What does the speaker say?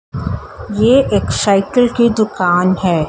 ये एक साइकिल की दुकान है।